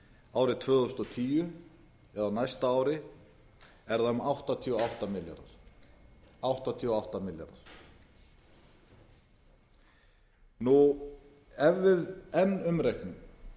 árið tvö þúsund og tíu eða á næsta ári er það um áttatíu og átta milljarðar ef við enn umreiknum